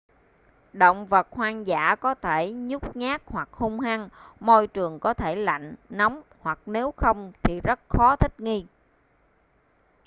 động vật hoang dã có thể nhút nhát hoặc hung hăng môi trường có thể lạnh nóng hoặc nếu không thì rất khó thích nghi